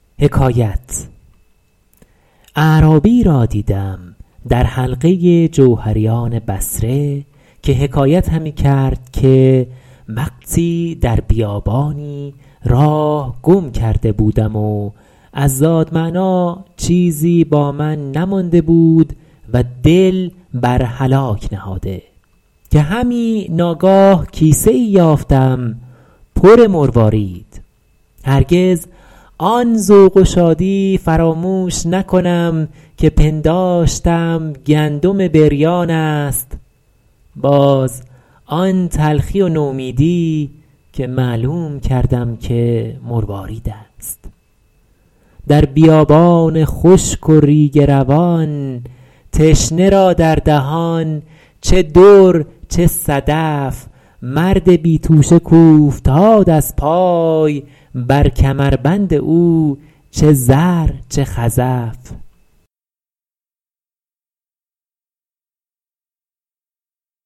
اعرابی را دیدم در حلقه جوهریان بصره که حکایت همی کرد که وقتی در بیابانی راه گم کرده بودم و از زاد معنیٰ چیزی با من نمانده بود و دل بر هلاک نهاده که همی ناگاه کیسه ای یافتم پر مروارید هرگز آن ذوق و شادی فراموش نکنم که پنداشتم گندم بریان است باز آن تلخی و نومیدی که معلوم کردم که مروارید است در بیابان خشک و ریگ روان تشنه را در دهان چه در چه صدف مرد بی توشه کاوفتاد از پای بر کمربند او چه زر چه خزف